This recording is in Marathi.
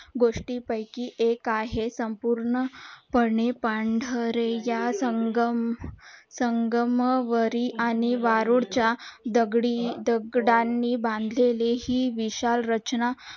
गोष्टी पयकी एक आहे संपूर्ण पने पांढरे या संगम वरी आणि वाळू च्या दगडी दगडांनी बांधलेले हि विशाल रचना